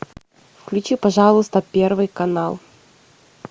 включи пожалуйста первый канал